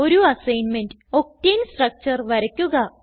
ഒരു assignment octane structure വരയ്ക്കുക